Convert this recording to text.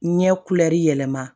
Ɲɛ yɛlɛma